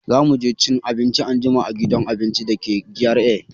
Za mu je cin abinci anjima a gidan abinci da ke GRA.